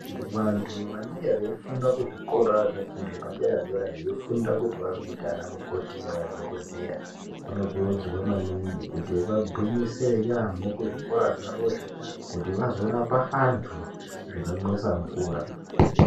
Vantu vanenge veifunda kuzvikora zvefundo yepadera-dera veifunda kuti vazoita anamukoti nemadhogodheya, vanokurudzirwa maningi kuti vagwinyisire yaamho kuzvikora zvavozvo, kuti vazorapa vantu zvinomwisa mvura.